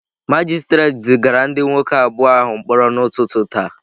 Magistrate zigara ndị nwoke abụọ ahụ mkpọrọ n'ụtụtụ taa.